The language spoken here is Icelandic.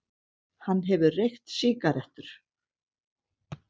Hann hefur reykt sígarettur.